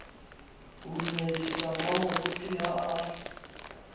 ho dumedisa mmamoruti ha a